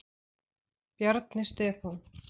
Bjarni Stefán.